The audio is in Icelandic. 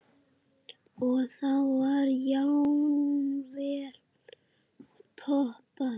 Og þá var jafnvel poppað.